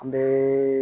An bɛ